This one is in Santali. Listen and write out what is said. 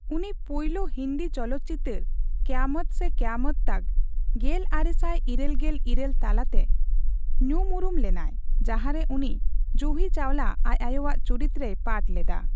ᱩᱱᱤ ᱯᱩᱭᱞᱩ ᱦᱤᱱᱫᱤ ᱪᱚᱞᱚᱛ ᱪᱤᱛᱟᱹᱨ ᱠᱚᱭᱟᱢᱚᱛ ᱥᱮ ᱠᱚᱭᱟᱢᱚᱛ ᱛᱚᱠ (ᱜᱮᱞᱟᱨᱮᱥᱟᱭ ᱤᱨᱟᱹᱞ ᱜᱮᱞ ᱤᱨᱟᱹᱞ ) ᱛᱟᱞᱟᱛᱮ ᱧᱩᱢᱩᱨᱩᱢ ᱞᱮᱱᱟᱭ ᱡᱟᱦᱟᱨᱮ ᱩᱱᱤ ᱡᱩᱦᱤ ᱪᱟᱣᱞᱟ ᱟᱡ ᱟᱭᱳᱣᱟᱜ ᱪᱩᱨᱤᱛᱨᱮᱭ ᱯᱟᱴᱷ ᱞᱮᱫᱟ ᱾